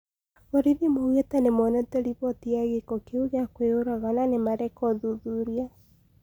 Borithi maugetĩ nĩmonete riboti ya gĩko kĩu gia kwĩyũraga na nĩmareka ũthuthuria